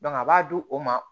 a b'a di o ma